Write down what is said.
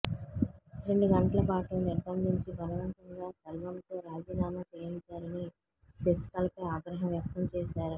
రెండు గంటలపాటు నిర్బంధించి బలవంతంగా సెల్వంతో రాజీనామా చేయించారని శశికళపై ఆగ్రహం వ్యక్తం చేశారు